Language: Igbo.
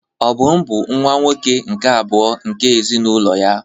Obum bụ nwa-nwoke nke abụọ nke ezinụlọ ya.